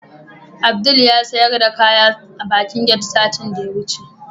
Abdul yasiyar da kaya a bakin get satin da yawuce